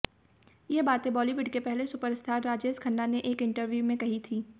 ये बातें बॉलीवुड के पहले सुपरस्टार राजेश खन्ना ने एक इंटरव्यू में कही थी